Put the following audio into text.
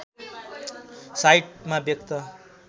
साइटमा व्यक्त